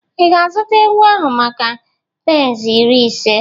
Ị ga-azụta ewu ahụ maka pence iri ise?